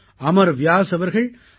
அமர் வ்யாஸ் அவர்கள் ஐ